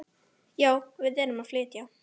Já, við erum að flytja.